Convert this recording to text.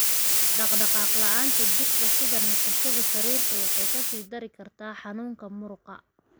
Dhaqdhaqaaq la'aanta jirka (sida nasashada sariirta) waxay ka sii dari kartaa xanuunka muruqa.